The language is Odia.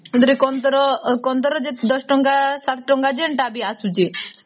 ସେଥିରେ କାନ୍ଦର ୧୦ ଟଙ୍କା ୭ ଟଙ୍କା ଯେନ୍ତା ବି ଆସୁଛି